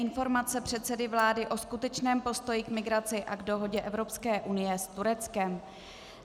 Informace předsedy vlády o skutečném postoji k migraci a k dohodě Evropské unie s Tureckem